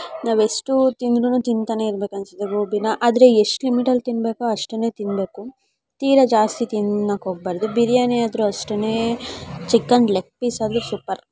ನಾವೆಷ್ಟು ತಿಂದ್ರುನೂ ತಿಂತಾನೆ ಇರಬೇಕು ಅನ್ಸುತ್ತೆ ಘೋಬಿನ ಆದ್ರೆ ಎಷ್ಟ್ ಲಿಮಿಟ್ ಲ್ ತಿನ್ಬೇಕೋ ಅಷ್ಟೇನೇ ತಿನ್ಬೇಕು ತೀರಾ ಜಾಸ್ತಿ ತಿನ್ನೋಕೆ ಹೋಗಬಾರದು ಬಿರಿಯಾನಿ ಆದರು ಅಷ್ಟೇನೆ ಚಿಕನ್ ಲೆಗ್ ಪಿಸ್ ಆದ್ರೂ ಸೂಪರ್.